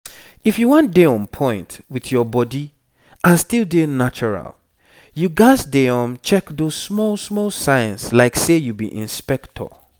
if you wan dey on point with your body and still dey natural you gats dey um check those small small signs like say you be inspector.